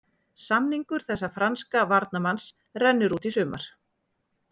Samningur þessa franska varnarmanns rennur út í sumar.